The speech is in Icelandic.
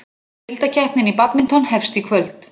Deildakeppnin í badminton hefst í kvöld